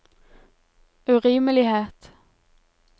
urimelighet